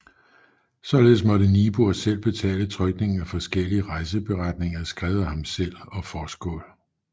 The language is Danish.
Således måtte Niebuhr selv betale trykningen af forskellige rejseberetninger skrevet af ham selv og Forsskål